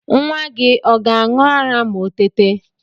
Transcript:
Nwa gi ọ ga-aṇ̇ụ ara ma o tete